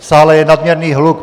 V sále je nadměrný hluk.